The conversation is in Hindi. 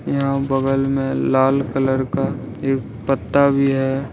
यहां बगल में लाल कलर का एक पत्ता भी है।